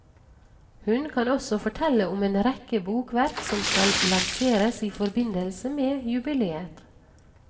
Hun kan også fortelle om en rekke bokverk som skal lanseres i forbindelse med jubileet.